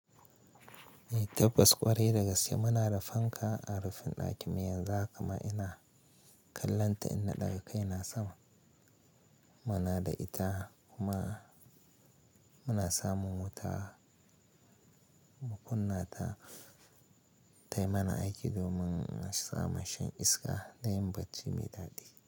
Tabbas ƙwarai dagaske muna da fanka a rufin ɗakin mu yanzu haka ma ina kallon ta inna ɗaga kai na sama. Muna da ita kuma muna samun wuta mu kunna ta tayi mana aiki domin samun shan iska da yin bacci mai daɗi.